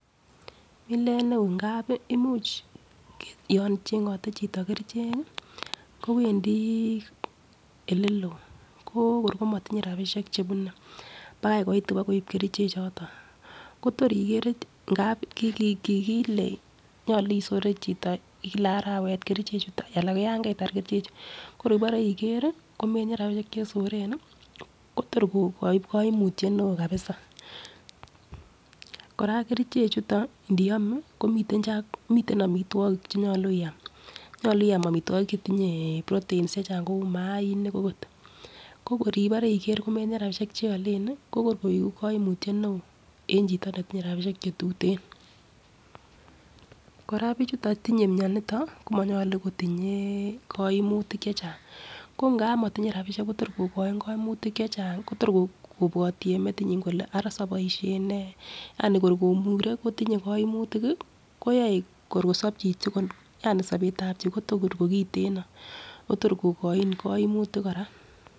Milet neo ngapi imuch yon chengote chito kerichek kii kowendii oleloo ko kor komotinye rabishek chebune pakai koit ibokoib kerichek choton, Kotor igerer ngap ki nyolu isire chito Kila arawet kerichek chuton alan koyon keitar kerichek chuu ko kor ibore igeri komotinye rabishek chesoren nii Kotor koiku koimutyet neo kabisa. Koraa kerichek chuton ndiome komiten komiten omitwokik chenyolu iam nyolu iam omitwokik chetinye proteins chechang kou mainik okot ko kor ibore iker komotinye rabishek cheolen ko kor koigu koimutyet neo en chito netinye rabishek chetuten . Koraa bichuton tinye mioniton komyolu kotinye koimutik chechang ko ngap motinye rabishek Kotor kokoin koimutik chechang Kotor kobwoti en meyinyin kole Ara soboielshen nee Yani kor kobore kotinye koimutik kii koyoe kor kosob chichi yani sobetab chichi Kotor kokiteno otor kokoin koimutik koraa.